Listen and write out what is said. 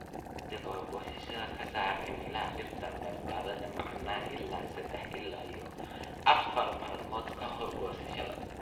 "Daawaynta ka hor goosashada ka saar caleemaha dhirta baradhada macaan ilaa sadah ila iyo afar maalmood ka hor goosashada.